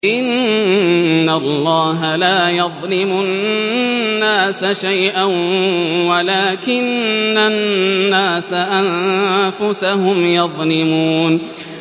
إِنَّ اللَّهَ لَا يَظْلِمُ النَّاسَ شَيْئًا وَلَٰكِنَّ النَّاسَ أَنفُسَهُمْ يَظْلِمُونَ